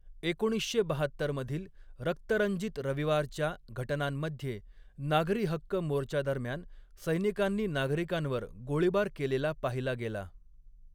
एकोणीसशे बाहत्तर मधील 'रक्तरंजित रविवार'च्या घटनांमध्ये नागरी हक्क मोर्चादरम्यान सैनिकांनी नागरिकांवर गोळीबार केलेला पाहिला गेला.